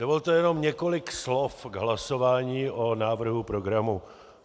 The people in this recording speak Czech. Dovolte jenom několik slov k hlasování o návrhu programu.